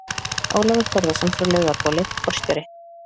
Ólafur Þórðarson frá Laugabóli, forstjóri